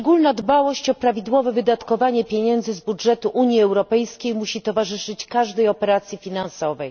Szczególna dbałość o prawidłowe wydatkowanie pieniędzy z budżetu Unii Europejskiej musi towarzyszyć każdej operacji finansowej.